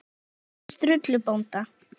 Og spjalli við Sturlu bónda.